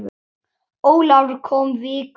Ólafur kom viku síðar.